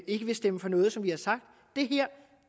ikke vil stemme for noget som vi har sagt